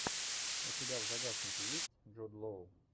у тебя в загашнике есть джуд лоу